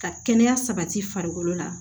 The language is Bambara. Ka kɛnɛya sabati farikolo la